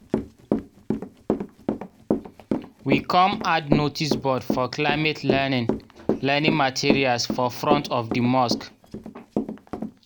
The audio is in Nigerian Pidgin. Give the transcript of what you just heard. we kom add noticeboard for climate learning learning materials for front of di mosque.